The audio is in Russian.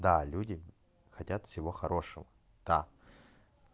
да люди хотят всего хорошего да